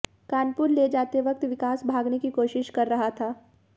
कानपुर ले जाते वक्त विकास भागने की कोशिश कर रहा था